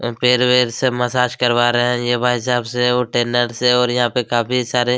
पैर वैर सब मसाज करा रहे है ये भाईसाब से और टेनर से और यहाँ पे काफ़ी सारे--